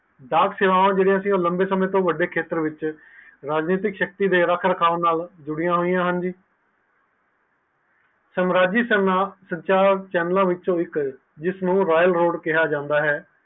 ਰਾਜਨੀਤੀ ਸ਼ਕਤੀ ਦੇ ਰੇਖ ਰੱਖਣ ਨਾਲ ਜੁੜਦੀਆਂ ਹੋਇਆਂ ਹਨ ਸੰਰਾਜਿਕ ਸੰਚਾਰ ਚੈਨਲ ਵਿੱਚੋ ਜਿਸ ਨੂੰ ਰਿਮੇ road ਕਿਹਾ ਜਾਂਦਾ ਹੈ